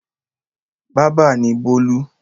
Bábà ni Bólú.